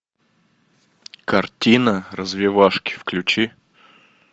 картина развивашки включи